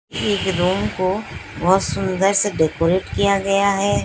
एक रूम को बहुत सुंदर से डेकोरेट किया गया है।